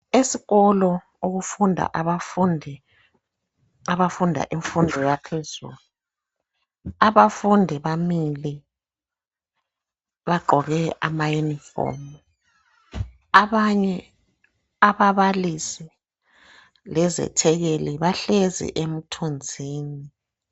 Esikolo okufunda abafundi abafunda imfundo yaphezulu, abafundi bamile, bagqoke ama uniform. Abanye ababalisi lezethekeli bahlezi emthunzini.